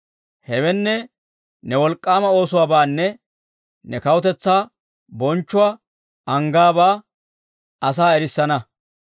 Hewenne, ne wolk'k'aama oosuwaabaanne ne kawutetsaa bonchchuwaa anggaabaa asaa erissana.